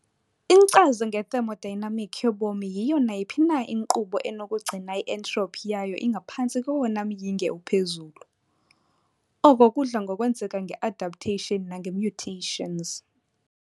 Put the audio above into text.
Inkcazo nge-thermodynamic yobomi yiyo nayiphi na inkqubo enokugcina i-entropy yayo ingaphantsi kowona myinge uphezulu, oko kudla ngokwenzeka nge-adaptation nange-mutations.